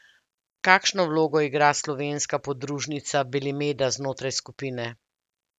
Kakšno vlogo igra slovenska podružnica Belimeda znotraj skupine?